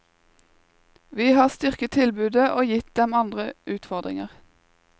Vi har styrket tilbudet og gitt dem andre utfordringer.